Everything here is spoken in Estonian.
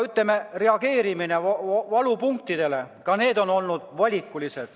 Reageerimine valupunktidele on olnud valikuline.